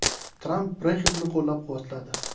Tramp Brexit’ni qo‘llab-quvvatladi.